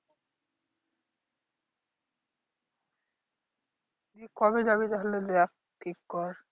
কবে যাবি তাহলে দেখ ঠিক কর